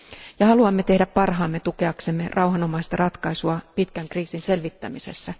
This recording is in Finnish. Ja haluamme tehdä parhaamme tukeaksemme rauhanomaista ratkaisua pitkän kriisin selvittämisessä.